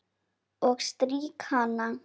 Og strýk hana.